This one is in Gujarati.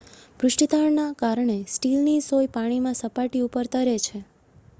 પૃષ્ઠતાણના કારણે સ્ટીલની સોય પાણીમાં સપાટી ઉપર તરે છે